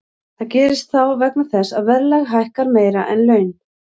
Það gerist þá vegna þess að verðlag hækkar meira en laun.